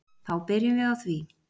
Þá byrjum við á því.